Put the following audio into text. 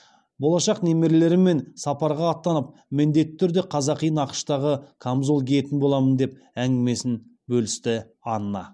болашақ немерелеріммен сапарға аттанып міндетті түрде қазақи нақыштағы камзол киетін боламын деп әңгімесін бөлісті анна